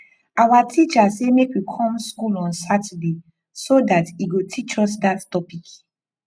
our teacher say make we come school on saturday so dat he go teach us dat topic